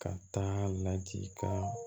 Ka taa ladikan